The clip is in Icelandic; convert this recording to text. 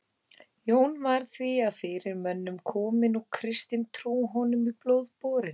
Jón var því af fyrirmönnum kominn og kristin trú honum í blóð borin.